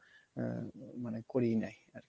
আহ মানে করিয়ে নেয়।